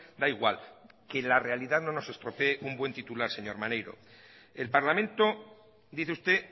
da igual que la realidad no nos estropee un buen titular señor maneiro el parlamento dice usted